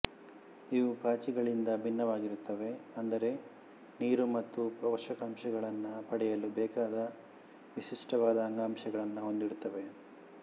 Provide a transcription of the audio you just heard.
ಇವು ಪಾಚಿಗಳಿಂದ ಭಿನ್ನವಾಗಿರುತ್ತವೆ ಅಂದರೆ ನೀರು ಮತ್ತು ಪೋಷಕಾಂಶಗಳನ್ನು ಪಡೆಯಲು ಬೇಕಾದ ವಿಶಿಷ್ಟವಾದ ಅಂಗಾಂಶಗಳನ್ನು ಹೊಂದಿರುತ್ತವೆ